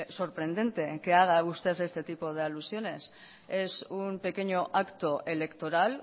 sorprendente en que haga usted este tipo de alusiones es un pequeño acto electoral